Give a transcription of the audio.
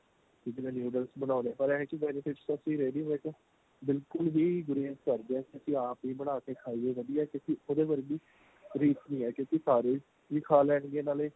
ਇੱਕ ਤਾਂ noodles ਬਣਾਉਣੇ ਪਰ ਇਹ ਹੈ ਕੀ benefits ਤਾਂ ready ਹੋਏ ਗਾ ਬਿਲਕੁਲ ਹੀ ਗੁਰੇਜ ਕਰਦੇ ਆ ਕਿਉਂਕਿ ਆਪ ਹੀ ਬਣਾ ਕੇ ਖਾਈਏ ਵਧੀਆ ਕਿਉਂਕਿ ਉਹਦੇ ਵਰਗੀ ਰੀਸ ਨਹੀਂ ਏ ਕਿਉਂਕਿ ਸਾਰੇ ਵੀ ਖਾ ਲੈਣ ਗੇ ਨਾਲੇ